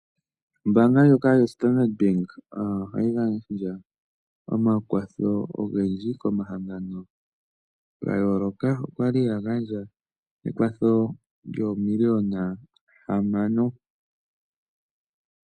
Ombaanga ndjoka yo Standard Bank ohayi gandja omakwatho ogendji komahangano ga yooloka. Okwali ya gandja ekwatho lyoomiliyona hamano.